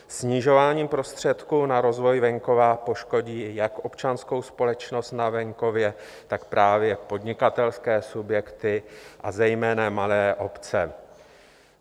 Snižování prostředků na rozvoj venkova poškodí jak občanskou společnost na venkově, tak právě podnikatelské subjekty, a zejména malé obce.